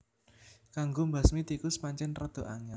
Kanggo mbasmi tikus pancén rada angél